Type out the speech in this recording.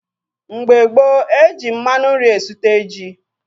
Mgbe gboo, eji mmanụ nri esute ji.